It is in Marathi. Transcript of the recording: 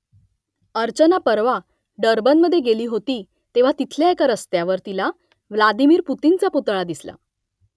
अर्चना परवा डर्बनमध्ये गेली होती तेव्हा तिथल्या एका रस्त्यावर तिला व्लादिमिर पुतिनचा पुतळा दिसला